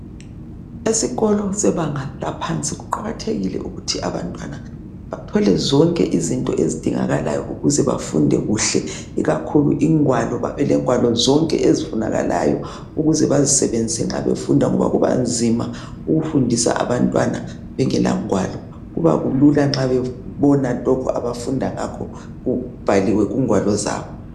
Esikolo sebanga laphansi kuqakathekile ukuthi abantwana bathole zonke izinto ezidingakalayo ukuze bafunde kuhle ikakhulu ingwalo babelengwalo zonke ezifunakalayo ukuze bazisebenzise nxa befunda ngoba kubanzima ukufundisa abantwana bengela ngwalo kubalula nxa bebona lokhu abafunda ngakho kubhaliwe kungwalo zabo.